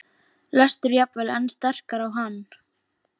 lestur jafnvel enn sterkar á hann.